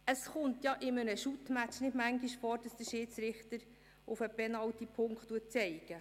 Es kommt in einem Fussballspiel nicht oft vor, dass der Schiedsrichter auf den Penalty-Punkt zeigt.